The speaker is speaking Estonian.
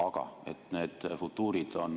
Aga et need futuurid ...